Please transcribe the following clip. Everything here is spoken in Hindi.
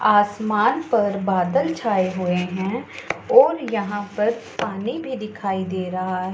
आसमान पर बादल छाए हुए हैं और यहां पर पानी भी दिखाई दे रहा--